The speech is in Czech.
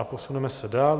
A posuneme se dál.